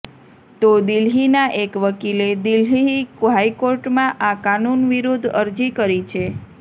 તો દિલ્હીના એક વકિલે દિલ્હહી હાઇકોર્ટમાં આ કાનૂન વિરૂદદ્ધ અરજી કરી છે